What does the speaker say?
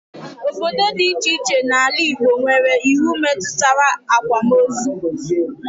Obodo dị iche iche n'ala Igbo nwere iwu metụtara akwamozu